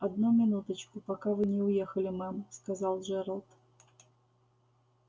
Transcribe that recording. одну минуточку пока вы не уехали мэм сказал джералд